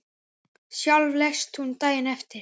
Sjálf lést hún daginn eftir.